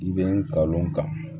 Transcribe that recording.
I bɛ ka o kan